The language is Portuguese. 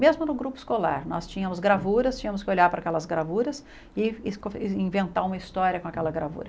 Mesmo no grupo escolar, nós tínhamos gravuras, tínhamos que olhar para aquelas gravuras e es en inventar uma história com aquela gravura.